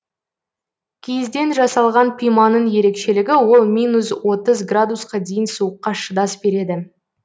киізден жасалған пиманың ерекшелігі ол минус отыз градусқа дейін суыққа шыдас береді